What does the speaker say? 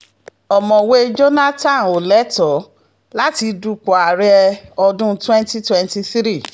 ọ̀mọ̀wé jonathan ò lẹ́tọ̀ọ́ láti dupò ààrẹ ọdún twenty twenty-three